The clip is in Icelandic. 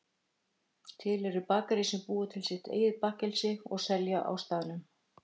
til eru bakarí sem búa til sitt eigið bakkelsi og selja á staðnum